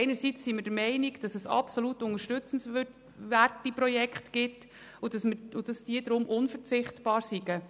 Einerseits sind wir der Meinung, es gebe absolut unterstützenswerte Projekte, die unverzichtbar sind.